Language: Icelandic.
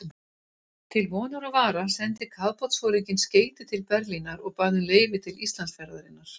Til vonar og vara sendi kafbátsforinginn skeyti til Berlínar og bað um leyfi til Íslandsferðarinnar.